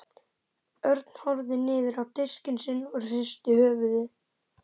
Örn horfði niður á diskinn sinn og hristi höfuðið.